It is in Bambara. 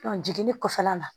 jiginni kɔfɛla la